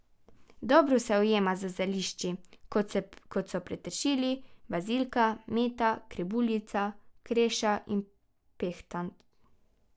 Dobro se ujema z zelišči, kot so peteršilj, bazilika, meta, krebuljica, kreša in pehtran.